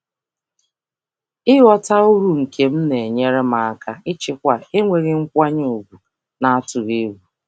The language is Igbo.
Ịghọta uru m na-enyere m aka ijikwa akparị na-enweghị ịhapụ ntụkwasị obi.